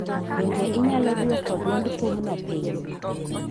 Donge inyalo dwoko dwond thumno piny?